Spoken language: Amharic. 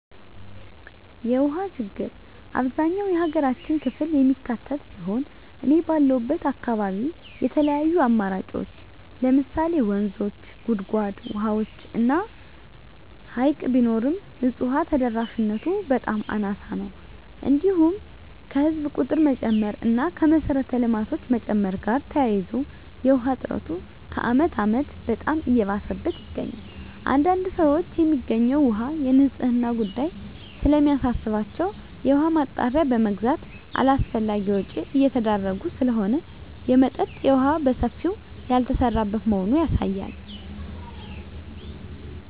የውሃ ችግር አብዛኛው የሀገራችን ክፍል የሚካትት ሲሆን እኔ ባለሁበት አካባቢ የተለያዩ አማራጮች ለምሳሌ ወንዞች; ጉድጓድ ውሃዎች እና ሀይቅ ቢኖርም ንፁህ ውሃ ተደራሽነቱ በጣም አናሳ ነው። እንዲሁም ከህዝብ ቁጥር መጨመር እና ከመሰረተ ልማቶች መጨመር ጋር ተያይዞ የውሃ እጥረቱ ከአመት አመት በጣም እየባሰበት ይገኛል። አንዳንድ ሰዎች የሚገኘው ውሃ የንፅህናው ጉዳይ ስለሚያሳስባቸው የውሃ ማጣሪያ በመግዛት አላስፈላጊ ወጭ እየተዳረጉ ስለሆነ የመጠጠጥ የውሃ በሰፊው ያልተሰራበት መሆኑ ያሳያል።